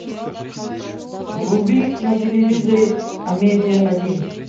вруби на телевизоре амедиа один